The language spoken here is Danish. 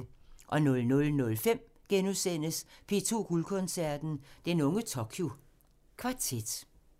00:05: P2 Guldkoncerten – Den unge Tokyo Kvartet *